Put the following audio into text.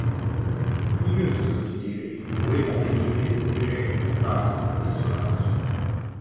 mmírí ọ̀zuzọ̀ jìdéré m wéé bànyé n'ímé òbérè cafe ahụ́ ị̀ tụ̀rụ́ àtụ́.